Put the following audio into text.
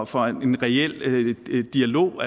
for en reel dialog